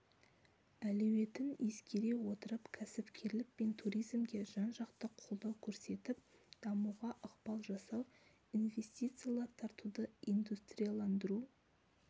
әлеуетін ескере отырып кәсіпкерлік пен туризмге жан-жақты қолдау көрсетіп дамуға ықпал жасау инвестициялар тартуды индустрияландыру